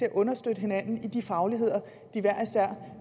kan understøtte hinanden i de fagligheder de hver især